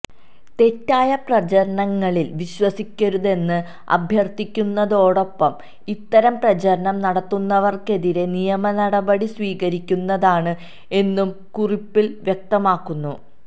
തെറ്റായ പ്രചരണങ്ങളില് വിശ്വസിക്കരുതെന്ന് അഭ്യര്ത്ഥിക്കുന്നതോടൊപ്പം ഇത്തരം പ്രചരണം നടത്തുന്നവര്ക്കെതിരെ നിയമനപടി സ്വീകരിക്കുന്നതാണ് എന്നും കുറിപ്പില് വ്യക്തമാക്കുന്നു